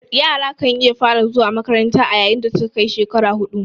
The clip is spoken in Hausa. Yara kan iya fara zuwa makanranta a yayin dasuka kai shekara hudu